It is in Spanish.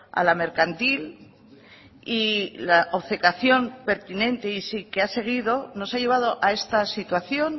a la mercantil y la obcecación pertinente y sí que ha seguido nos ha llevado a esta situación